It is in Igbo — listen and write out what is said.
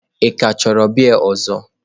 Ị ka chọrọ biya ọzọ?